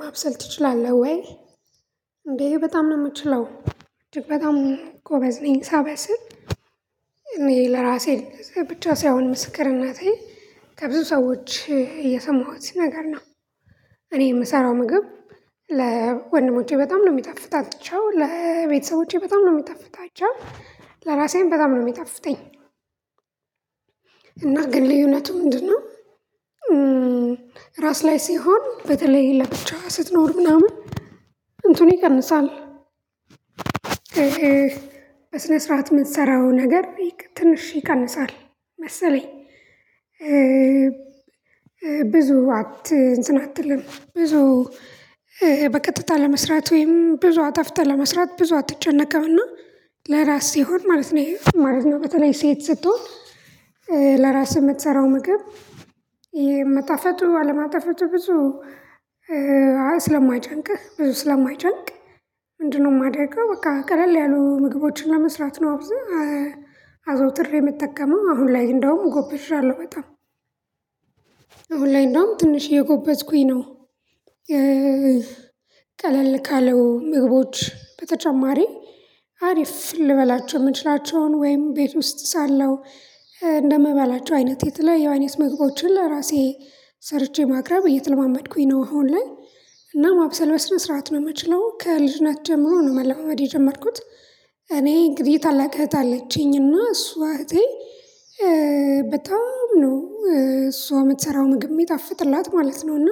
ማብሰል ትችላለህ ወይ? እንዴ በጣም ነው የምችለው እጅግ በጣም ጎበዝ ነኝ። ሳበስል እኔ ለራሴ ብቻ ሳይሆን ምስክርነቴ ከብዙ ሰዎች የሰማኋት ነገር ነው። እኔ የምሰራው ምግብ ለወንድሞቼ በጣም ነው የሚጣፍታቸው ለቤተሰቦቼ በጣም ነው የሚጣፍጣቸው ለራሴዬም በጣም ነው። የሚጣፍጠኝ ግን ልዩነቱ ምንድነው? ራስ ላይ ሲሆን በተለይ ይሄ ለብቻ ስትኖር ምናምን እንትኑ ይቀንሳል። እህ በስነ ስርዓት የምትሰራው ነገር ትንሽ ይቀንሳል መሰለኝ። ብዙ አት እንትን አትልም ብዙ በቀጥታ ለመስራት ወይም ብዙ አጣፍተህ ለመስራት ብዙ አትጨነቅምና ለራስ ሲሆን ማለት ነው ማለት ነው። በተለይ ሴት ስትሆን የምትሰራው ምግብ የመጣፈቱ አለመጣፈቱ ብዙ ስለማይጨንቅህ ብዙ ስለማይጨንቅ ምንድነው የማደርገው በቃ ቀለል ያሉ ምግቦችን ለመስራት ነው። አብዛኛው አዘወትሬ የምትጠቀመው አሁን ላይ እንደውም ጎበዣለሁ በጣም። አሁን ላይ እንደውም ትንሽ እየጎበዝኩኝ ነው። ቀለል ካለው ምግቦች በተጨማሪ አሪፍ ልበላቸው የምችላቸውን ወይም ቤት ውስጥ ሳለው እንደምበላ አይነት የተለያዩ የአይነት መግቦችን ለራሴ ሰርቼ ማቅረብ እየተለማመድኩኝ ነው። አሁን ላይ እና ማብሰል በስነ ስርዓት ነው የምችለው ከልጅነት ጀምሮ ነው መለማመድ የጀመርኩት። እኔ እንግዲህ ታላቅ እህት አለችኝና እሷ እህቴ በጣም ነው እሷ የምትሰራው ምግብ ሚጣፍጥላት ማለት ነው። እና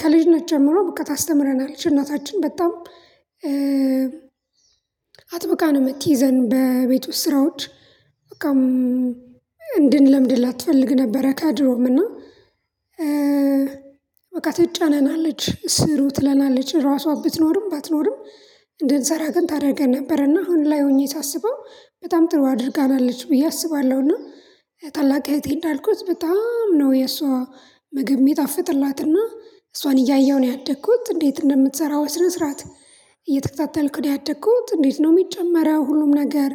ከልጅነት ጀምሮ በቃ ታስተምረናለች እናታችን በጣም አጥብቃ ነው የምትይዘን በቤት ውስጥ ስራዎች በቃም እንድንለምድላት ትፈልግ ነበረ። ከድሮዉም እና በቃ ትጫነናለች ስሩ ትለናለች ራሷ ብትኖርም ባትኖርም እንድንሰራ ግን ታደርገን ነበረና አሁን ላይ ሆኜ ሳስበው በጣም ጥሩ አድርጋናለች ብዬ አስባለሁና። ታላቅ እህቴ እንዳልኩት በጣም ነው የሷ ምግብ የሚጣፍጥላትና እሷን እያየሁ ነው ያደግኩት እንዴት እንደምትሰራው በስነ ስርዓት እየተከታተልኩ ያደግኩት እንዴት ነው የሚጨመረው ሁሉም ነገር።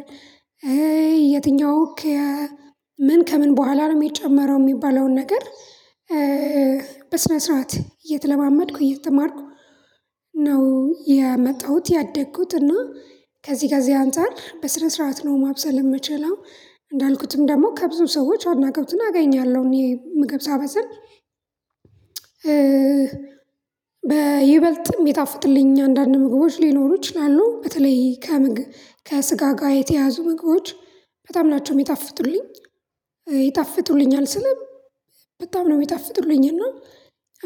የትኛው ምን ከምን በኋላ ነው የሚጨመረው የሚባለውን ነገር። በስነ ስርዓት እየተለማመድኩ እየተማርኩ ነው የመጣሁት ያደግኩት እና ከዚህ ጋር እዚህ አንፃር በስነ ሰረአት ነው ማብሰል የምችለው። እንዳልኩትም ደግሞ ከብዙ ሰዎች አድናቆትን አገኛለሁ እኔ ምግብ ሳበስል በይበልጥም እሚይጣፍጥለኝ አንዳንድ ምግቦች ሊኖሩ ይችላሉ። በተለይ ከስጋ ጋር የተያያዙ ምግቦች በጣም ናቸው የሚጣፍጡልኝ። ይጣፍጡልኛል ስለህ በጣም ነው የሚጣፍጡልኝ እና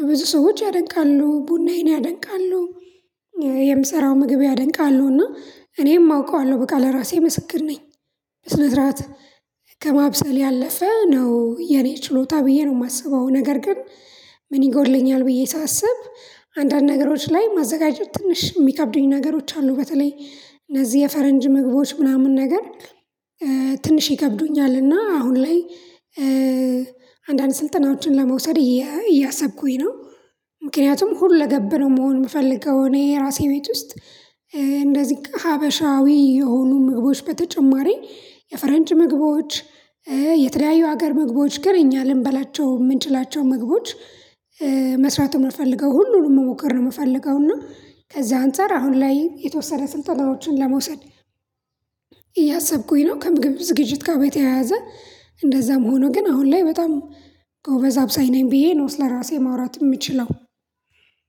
ብዙ ሰዎች ያደንቃሉ ቡናዬን ያደንቃሉ የምሰራው ምግብ ያደንቃሉ እና እኔም አውቀዋለሁ በቃ ለራሴ መስክር ነኝ። በስነ ሰረአት ከማብሰል ያለፈ ነው የኔ ችሎታ ብዬ ነው የማስበው ነገር ግን። ምን ይጎድልኛል ብዬ ሳስብ አንዳንድ ነገሮች ላይ ማዘጋጀት ትንሽ የሚከብዱኝ ነገሮች አሉ። በተለይ እነዚህ የፈረንጅ ምግቦች ምናምን ነገር ትንሽ ይከብዱኛል። እና አሁን ላይ አንዳንድ ስልጠናዎችን ለመውሰድ እያሰብኩኝ ነው። ምክንያቱም ሁለ ገብነው መሆን የምፈልገው እኔ የራሴ ቤት ውስጥ እንደዚህ ሀበሻዊ የሆኑ ምግቦች በተጨማሪ የፈረንጅ ምግቦች የተለያዩ ሀገር ምግቦች ግን እኛ ልንበላቸው የምንችላቸው ምግቦች መስራት የምፈልገው ሁሉንም መሞከር ነው። የምፈልገው እና ከዛ አንፃር አሁን ላይ የተወሰነ ስልጠናዎችን ለመውሰድ እያሰብኩኝ ነው። ከምግብ ዝግጅት ጋር በተያያዘ እንደዛም ሆኖ ግን አሁን ላይ በጣም ጎበዝ አብሳይ ነኝ ብዬ ነው ስለራሴ ማውራት የምችለው።